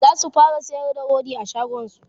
zasu fara sayar da rodi a shagonsu